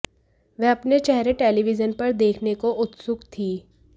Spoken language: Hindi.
वे अपने चेहरे टेलीविजन पर देखने को उत्सुक थीं